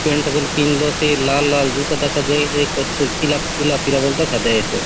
पेंट बले पिंधलोसे लाल - लाल जूता दखा दयेसे कुछ - कुछ पीला पीला - पीला बले दखा दयेसे।